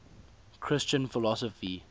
christian philosophy